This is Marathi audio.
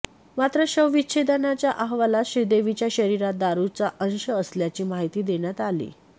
मात्र शवविच्छेदनाच्या अहवालात श्रीदेवीच्या शरीरात दारूचा अंश असल्याची माहिती देण्यात आलीय